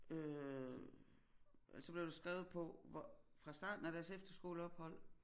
Øh altså blev der skrevet på hvor fra starten af deres efterskoleophold